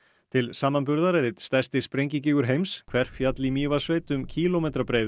til samanburðar er einn stærsti heims Hverfjall í Mývatnssveit um kílómetra breiður